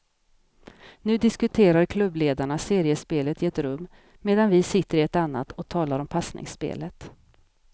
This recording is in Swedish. Nu diskuterar klubbledarna seriespelet i ett rum medan vi sitter i ett annat och talar om passningsspelet.